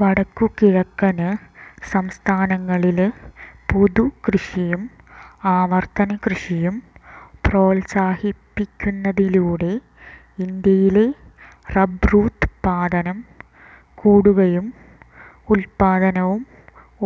വടക്കുകിഴക്കന് സംസ്ഥാനങ്ങളില് പുതുകൃഷിയും ആവര്ത്തനകൃഷിയും പ്രോത്സാഹിപ്പിക്കുന്നതിലൂടെ ഇന്ത്യയിലെ റബ്ബറുത്പാദനം കൂട്ടുകയും ഉത്പാദനവും